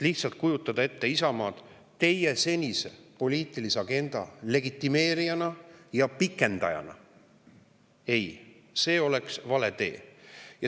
Lihtsalt kujutada ette Isamaad teie senise poliitilise agenda legitimeerijana ja pikendajana – ei, see oleks vale tee.